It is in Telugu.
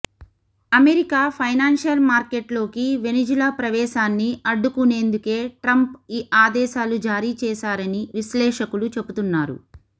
అమెరికా ఫైనాన్షియల్ మార్కెట్లోకి వెనిజులా ప్రవేశాన్ని అడ్డుకునేందుకే ట్రంప్ ఈ ఆదేశాలు జారీ చేశారని విశ్లేషకులు చెబుతున్నారు